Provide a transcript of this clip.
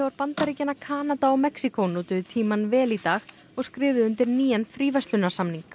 Bandaríkjanna Kanada og Mexíkó notuðu tímann vel í dag og skrifuðu undir nýjan fríverslunarsamning